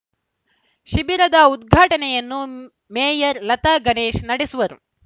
ಶಿಬಿರದ ಉದ್ಘಾಟನೆಯನ್ನು ಮೇಯರ್‌ ಲತಾ ಗಣೇಶ್‌ ನಡೆಸುವರು